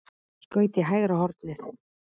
Skaut í hægra hornið.